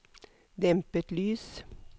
dempet lys